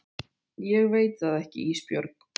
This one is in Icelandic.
Ég veit það ekki Ísbjörg.